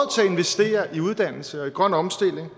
vi uddannelse og i grøn omstilling vi